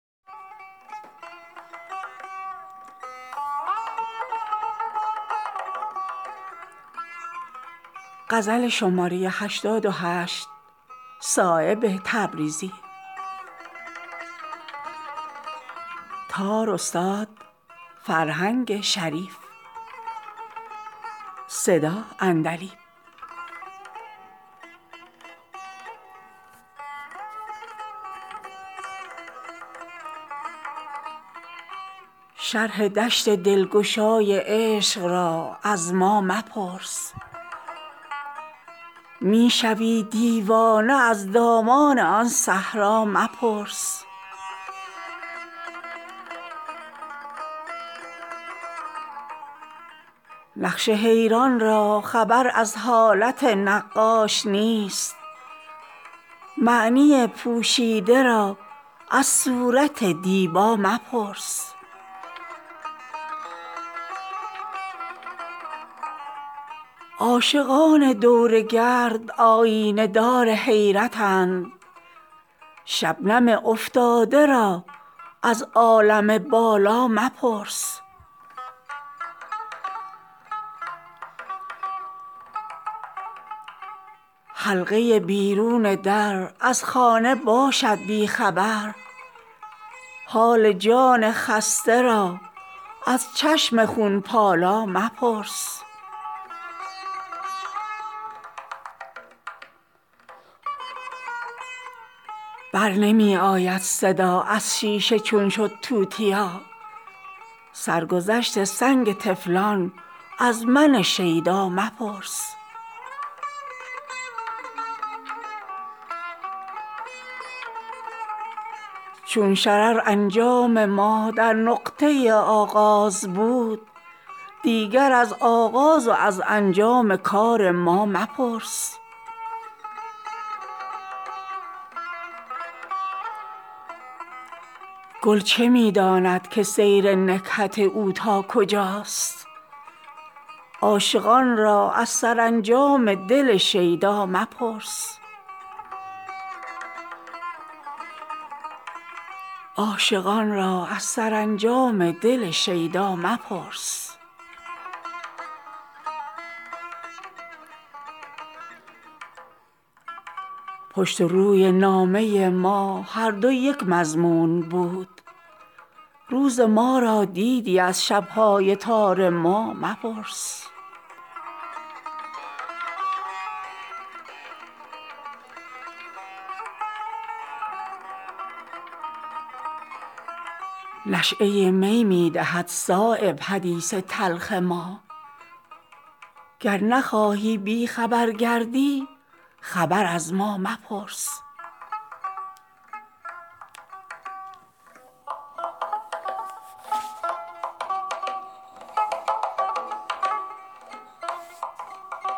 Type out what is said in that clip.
شرح دشت دلگشای عشق را از ما مپرس می شوی دیوانه از دامان آن صحرا مپرس تیغ سیراب است موج قلزم خونخوار عشق غوطه در خون می دهی ما را ازان دریا مپرس می کنی زیر و زبر ما را ازان کشور مگوی سر به صحرا می دهی ما را ازان صحرا مپرس نقش حیران را خبر از حالت نقاش نیست معنی پوشیده را از صورت دیبا مپرس قسمت ساحل ز دریا جز کف افسون نیست حال گوهرهای بحر از مشت خاک ما مپرس عاشقان دور گرد آیینه دار حیرتند شبنم افتاده را ازعالم بالا مپرس در تنور سینه خم جوش این می را ببین نشأه این باده را از ساغر و مینا مپرس سوزن دجال چشم از حال عیسی غافل است عشق بالا دست را از عقل نابینا مپرس زاهد خشک از شراب عشق رنگی دیده است زینهار از شیشه حال نشأه صهبا مپرس می زند آتش به عالم حرف روی او مگو می کنی قایم قیامت را ازان بالا مپرس اشک خونین می شود زان چهره رنگین مگو آه بالا می کشد زان قامت رعنا مپرس کاسه در خون جگر داران عالم می زند از خمار ظالم آن چشم بی پروا مپرس حلقه بیرون در از خانه باشد بی خبر حال جان خسته را از چشم خونپالا مپرس پشت و روی نامه ما هر دو یک مضمون بود روز ما را دیدی از شبهای تار ما مپرس گل چه می داند که سیر نکهت او تا کجاست عاشقان را از سرانجام دل شیدا مپرس چون شرر انجام ما در نقطه آغاز بود دیگر از آغاز و از انجام کار ما مپرس برنمی آید صدا از شیشه چون شد توتیا سرگذشت سنگ طفلان از من شیدا مپرس نشأه می می دهد صایب حدیث تلخ ما گر نخواهی بیخبر گردی خبر از ما مپرس